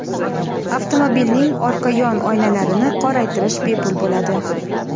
Avtomobilning orqa yon oynalarini qoraytirish bepul bo‘ladi.